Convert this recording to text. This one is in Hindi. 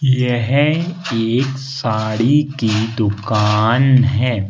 यह एक साड़ी की दुकान है।